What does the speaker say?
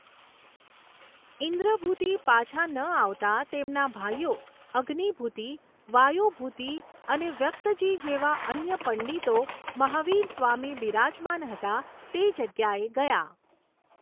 ઈંદ્રભૂતિ પાછા ન આવતાં તેમના ભાઈઓ અગ્નિભૂતિ, વાયુભૂતિ અને વ્યક્તજી જેવા અન્ય પંડિતો મહાવીર સ્વામી બિરાજમાન હતા તે જગ્યાએ ગયા.